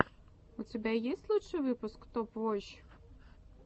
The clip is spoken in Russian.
у тебя есть лучший выпуск топ воч